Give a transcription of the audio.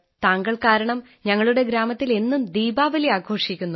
താങ്കൾ കാരണം ഞങ്ങലുടെ ഗ്രാമത്തിൽ എന്നും ദീപാവലി ആഘോഷിക്കുന്നു